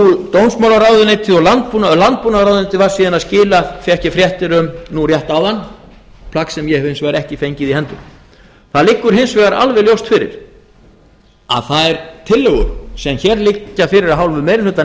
dómsmálaráðuneytið og landbúnaðarráðuneytið var síðan að skila fékk ég fréttir um rétt áðan plagg sem ég hef hins vegar ekki fengið í hendur það liggur hins vegar alveg ljóst fyrir að þær tillögur sem hér liggja fyrir af hálfu meirihluta